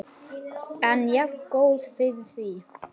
En jafngóð fyrir því!